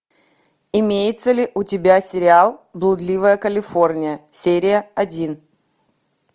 имеется ли у тебя сериал блудливая калифорния серия один